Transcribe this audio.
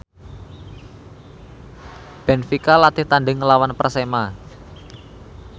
benfica latih tandhing nglawan Persema